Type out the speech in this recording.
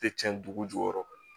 Tɛ cɛn dugu jukɔrɔ